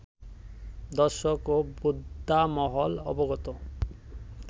দর্শক ও বোদ্ধামহল অবগত